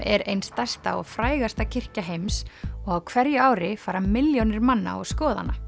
er ein stærsta og frægasta kirkja heims og á hverju ári fara milljónir manna og skoða hana